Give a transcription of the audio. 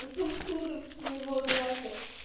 у сосудов своего глаза